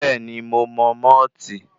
Bẹ́ẹ̀ni, mo mọ mọ́ọ̀tì.